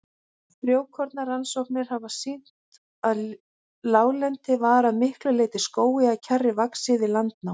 Frjókornarannsóknir hafa sýnt að láglendi var að miklu leyti skógi eða kjarri vaxið við landnám.